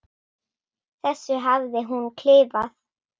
þessu hafði hún klifað.